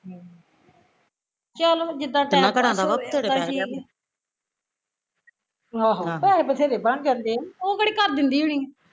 ਚਲੋ ਜਿੱਦਾ time pass ਹੋਈ ਜਾਂਦਾ ਠੀਕ ਆ ਆਹੋ ਪੈਸੇ ਵਧੇਰੇ ਬਣ ਜਾਂਦੇ ਆ ਉਹ ਕਿਹੜਾ ਘਰ ਦਿੰਦੀ ਹੁਣੀ ਆ